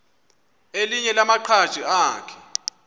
elinye lamaqhaji akhe